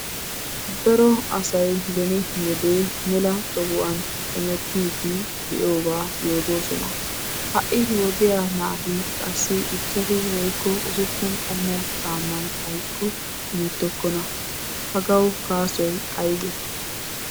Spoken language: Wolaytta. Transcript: Daro asay beni wode mela tohuwan de'oogaa yootoosona. Ha"i nu wodiya naatinne qassi ichchashu woykko usuppun qommo caammay xaykko hemettokkona. Hagawu gaasoy aybee?